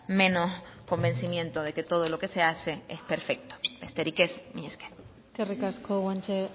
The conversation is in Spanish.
menos convencimiento de que todo lo que se hace es perfecto besterik ez mila esker eskerrik asko guanche